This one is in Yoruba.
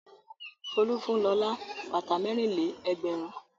Folú fún Lọlá bàtà mẹ́rin-lé-ẹgbẹ̀rún.